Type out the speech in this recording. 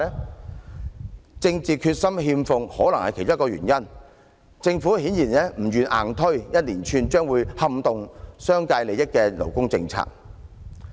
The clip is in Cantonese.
缺乏政治決心可能是其中一個原因，政府顯然不願硬推一連串撼動商界利益的勞工政策。